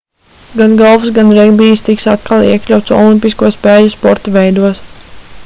gan golfs gan regbijs tiks atkal iekļauts olimpisko spēļu sporta veidos